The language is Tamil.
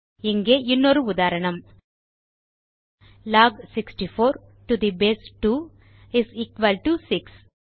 இங்கே இன்னொரு உதாரணம்160 log 64 to the base 2 is equal to 6